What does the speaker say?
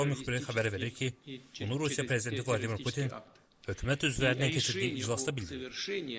TASS-ın Moskva müxbiri xəbər verir ki, bunu Rusiya prezidenti Vladimir Putin hökumət üzvləri ilə keçirdiyi iclasda bildirib.